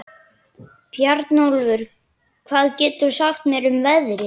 Bjarnólfur, hvað geturðu sagt mér um veðrið?